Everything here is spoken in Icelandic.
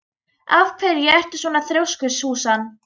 Af hverju ertu svona þrjóskur, Súsan?